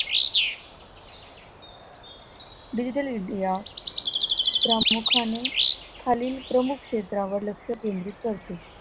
digital India प्रामुख्याने खालील प्रमुख क्षेत्रांवर लक्ष केंद्रित करते.